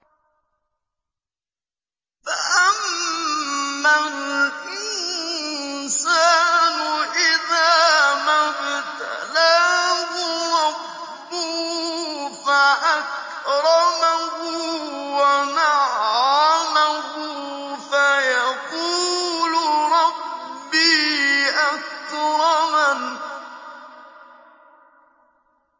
فَأَمَّا الْإِنسَانُ إِذَا مَا ابْتَلَاهُ رَبُّهُ فَأَكْرَمَهُ وَنَعَّمَهُ فَيَقُولُ رَبِّي أَكْرَمَنِ